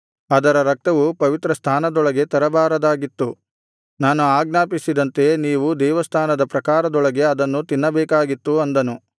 ಅದರ ರಕ್ತವು ಪವಿತ್ರಸ್ಥಾನದೊಳಗೆ ತರಬಾರದಾಗಿತ್ತು ನಾನು ಆಜ್ಞಾಪಿಸಿದಂತೆ ನೀವು ದೇವಸ್ಥಾನದ ಪ್ರಾಕಾರದೊಳಗೆ ಅದನ್ನು ತಿನ್ನಬೇಕಾಗಿತ್ತು ಅಂದನು